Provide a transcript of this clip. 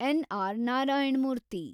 N. R. Narayana Murthy